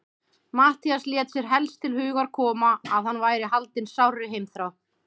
Matthías lét sér helst til hugar koma, að hann væri haldinn sárri heimþrá.